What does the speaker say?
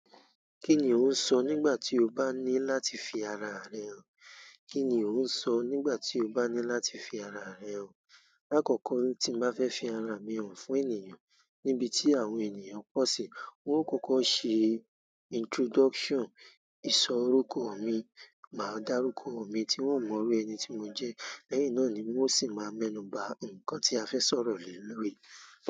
Kí ni ò ń sọ nígbà tí ó bá ní láti fi ara rẹ hàn? Kí ni ò ń sọ nígbà tí ó bá ní láti fi ara rẹ hàn? Lákọkọ́ tí n bá fẹ́ fi ara mi hàn fún ènìyàn níbití àwọn ènìyàn pọ̀ sí, wọn ó kọ́kọ́ ṣe introduction, i sọ orúkọ mí. Máa darukọ mi ti wọn o mọ irú ẹni tí mo jẹ lẹ́yìn náà ni un o sí máa mẹnuba nkán ti a fẹ sọ̀rọ̀ le lórí.